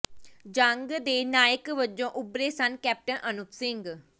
ਜੰਗ ਦੇ ਨਾਇਕ ਵਜੋਂ ਉੱਭਰੇ ਸਨ ਕੈਪਟਨ ਅਨੂਪ ਸਿੰਘ